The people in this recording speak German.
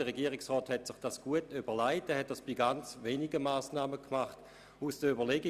Der Regierungsrat hat sich dies gut überlegt und ist nur bei ganz wenigen Massnahmen so vorgegangen.